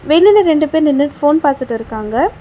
வெளில ரெண்டு பேர் நின்னுட் ஃபோன் பாத்துட்ருக்காங்க.